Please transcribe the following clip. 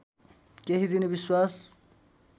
केही दिने विश्वास